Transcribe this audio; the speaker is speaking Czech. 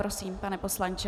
Prosím, pane poslanče.